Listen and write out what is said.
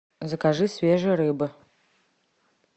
закажи свежей рыбы